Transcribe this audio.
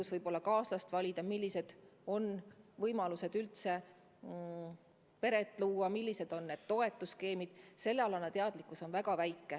Aga kuidas elus kaaslast valida, millised on võimalused üldse peret luua, millised on toetusskeemid – sellealane teadlikkus on väga madal.